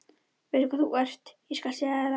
Veistu hvað þú ert, ég skal segja þér það.